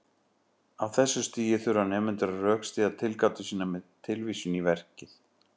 Á þessu stigi þurfa nemendur að rökstyðja tilgátur sínar með tilvísun í verkið.